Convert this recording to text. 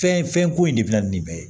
Fɛn fɛn ko in de bɛ na ni bɛɛ ye